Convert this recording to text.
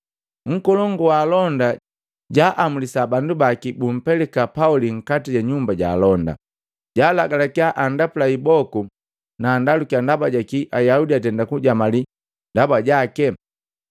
Nkolongu wa alonda jaamulisa bandu baki bumpelika Pauli nkati ja nyumba ja alonda, jaalagalakiya andapula iboku na andalukiya ndaba jakii Ayaudi atenda kujamali ndaba jake.